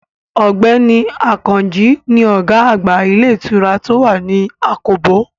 Ọ̀gbẹ́ni Àkànjí ni ọ̀gá àgbà ilé ìtura tó wà ní àkóbò